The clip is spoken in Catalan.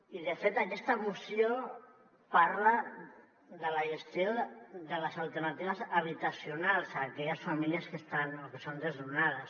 i de fet aquesta moció parla de la gestió de les alternatives habitacionals a aquelles famílies que estan o que són desnonades